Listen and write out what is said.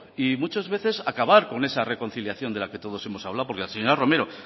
y muchas veces acabar con esa reconciliación de la que todos hemos hablado porque la señora romero